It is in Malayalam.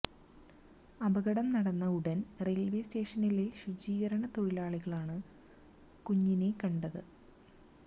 അപകടം നടന്ന ഉടൻ റയിൽവേ സ്റ്റേഷനിലെ ശുചീകരണ തൊഴിലാളികൾ ആണ് കുഞ്ഞിനെ കണ്ടത്